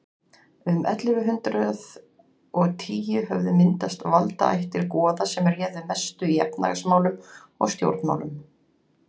um ellefu hundrað og tíu höfðu myndast valdaættir goða sem réðu mestu í efnahagsmálum og stjórnmálum